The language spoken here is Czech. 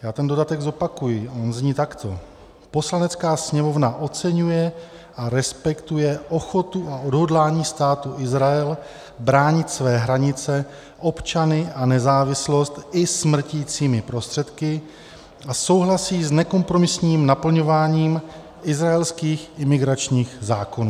Já ten dodatek zopakuji, on zní takto: "Poslanecká sněmovna oceňuje a respektuje ochotu a odhodlání Státu Izrael bránit své hranice, občany a nezávislost i smrticími prostředky a souhlasí s nekompromisním naplňováním izraelských imigračních zákonů."